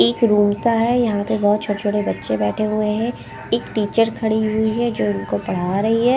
एक रूम सा हैं यहाँ पे बहुत छोटे-छोटे बच्चे बैठे हुए हैं एक टीचर खड़ी हुई हैं जो इनको पढ़ा रही हैं ।